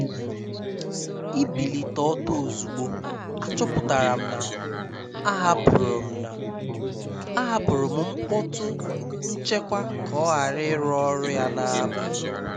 Íbílité ọ́tọ́ ózugbó, àchọ́pụ́tará m ná àhápụ́rụ́ m ná àhápụ́rụ́ m mkpọ́tú nchékwà ká ọ́ ghárá írụ́ ọ́rụ́ yá n’ábalì.